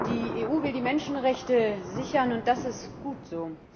Die EU will die Menschenrechte sichern, und das ist gut so.